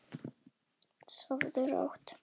Ólíku saman að jafna.